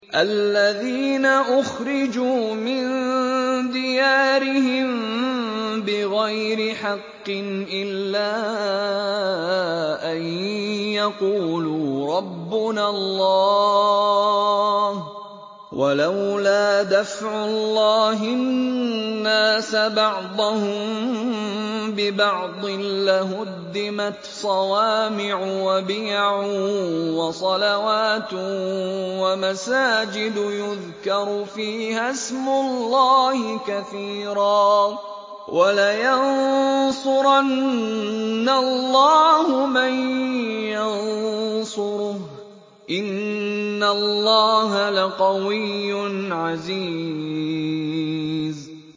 الَّذِينَ أُخْرِجُوا مِن دِيَارِهِم بِغَيْرِ حَقٍّ إِلَّا أَن يَقُولُوا رَبُّنَا اللَّهُ ۗ وَلَوْلَا دَفْعُ اللَّهِ النَّاسَ بَعْضَهُم بِبَعْضٍ لَّهُدِّمَتْ صَوَامِعُ وَبِيَعٌ وَصَلَوَاتٌ وَمَسَاجِدُ يُذْكَرُ فِيهَا اسْمُ اللَّهِ كَثِيرًا ۗ وَلَيَنصُرَنَّ اللَّهُ مَن يَنصُرُهُ ۗ إِنَّ اللَّهَ لَقَوِيٌّ عَزِيزٌ